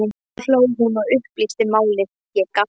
Þá hló hún og upplýsti málið, ég gapti.